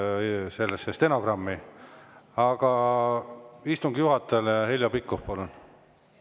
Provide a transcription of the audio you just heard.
Aga istungi juhatajale, Heljo Pikhof, palun!